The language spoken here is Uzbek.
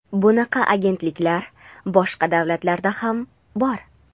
Bunaqa agentliklar boshqa davlatlarda ham bor.